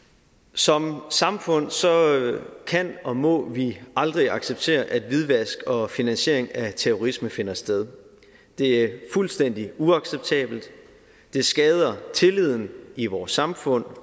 som samfund kan og må vi aldrig acceptere at hvidvask og finansiering af terrorisme finder sted det er fuldstændig uacceptabelt det skader tilliden i vores samfund